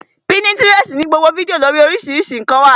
Pínítirẹsi ní gbogbo fídíò lórii oríṣiríṣi ǹkan